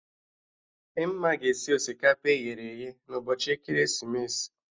Dimma ga-esi osikapa eghere eghe na ụbọchị ekeresimesi